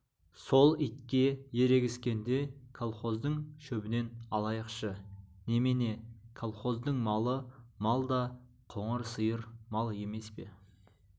сол итке ерегіскенде колхоздың шөбінен алайықшы немене колхоздың малы мал да қоңыр сиыр мал емес пе